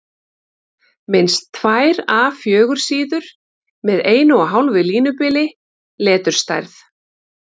Minnst tvær A 4 síður með 1½ línubili, leturstærð